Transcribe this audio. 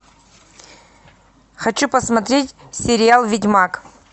хочу посмотреть сериал ведьмак